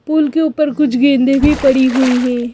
पुल के ऊपर कुछ गेंदें भी पड़ी हुई हैं।